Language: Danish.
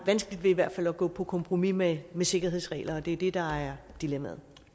i hvert fald at gå på kompromis med sikkerhedsregler og det er det der er dilemmaet